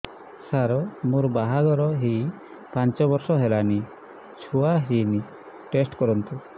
ସାର ମୋର ବାହାଘର ହେଇ ପାଞ୍ଚ ବର୍ଷ ହେଲାନି ଛୁଆ ହେଇନି ଟେଷ୍ଟ କରନ୍ତୁ